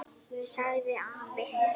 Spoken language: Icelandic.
sagði afi.